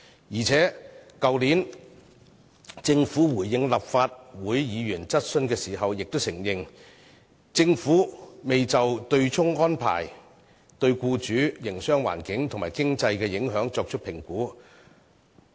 再者，政府去年回應立法會議員質詢時亦承認，未就取消對沖機制對僱主、營商環境和經濟的影響作出評估。